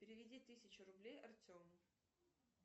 переведи тысячу рублей артему